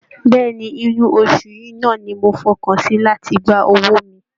Bẹ́ẹ̀ ni, inú oṣù yìí náà ni mo fọkàn sí láti gba owó mi